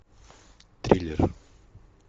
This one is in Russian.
триллер